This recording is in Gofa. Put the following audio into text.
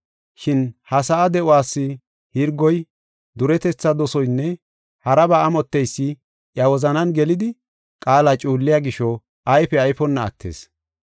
Shin ha sa7a de7uwas hirgoy, duretetha dosoynne haraba amotteysi iya wozanan gelidi qaala cuulliya gisho ayfe ayfonna attis.